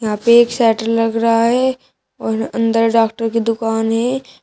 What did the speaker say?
यहां पे एक शटर लग रहा है और अंदर डॉक्टर की दुकान है।